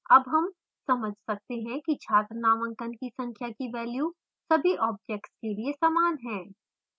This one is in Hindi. अब हम समझ सकते हैं कि छात्र नामांकन की संख्या की value सभी objects के लिए समान है